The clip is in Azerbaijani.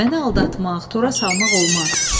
Məni aldatmaq, tora salmaq olmaz.